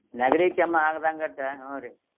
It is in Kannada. ನೆಗಡಿ ಕೆಮ್ಮ ಆಗದಂಗ ಅಟ್ಟ್ ಹುನ್ರಿ.